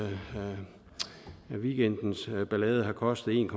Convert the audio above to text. weekendens ballade har kostet en